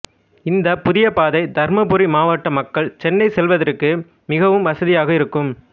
இந்த புதிய பாதை தருமபுரி மாவட்ட மக்கள் சென்னை செல்லவதற்கு மிகவும் வசதியாக இருக்கும்